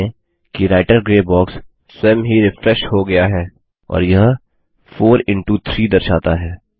ध्यान दें कि राइटर ग्रे बॉक्स स्वयं ही रिफ्रेश हो गया है और यह 4 इंटो 3 दर्शाता है